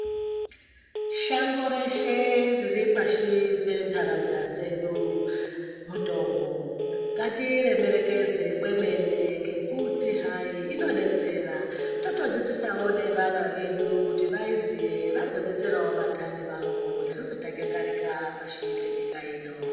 Shango reshe riripashi pentaraunda dzedu mitombo. Ngatiremekedze kwemene ngekuti hai inodetsera. Totodzidzisawo nevana vedu kuti vaiziye vazoronzerawo vantani vavo isusu tanyangarika pashi penyika ino.